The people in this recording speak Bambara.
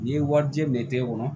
N'i ye wari di minɛ te e bolo